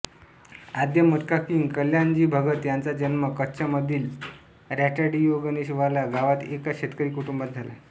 आद्य मटका किंग कल्याणजी भगत याचा जन्म कच्छमधील रटाडियागणेशवाला गावात एका शेतकरी कुटुंबात झाला